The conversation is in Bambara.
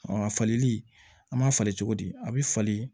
a falili an b'a falen cogo di a bɛ falen